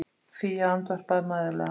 Fía andvarpaði mæðulega.